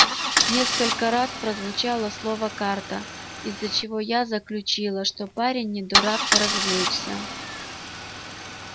несколько раз прозвучало слово карта из чего я заключила что парень не дурак поразвлечься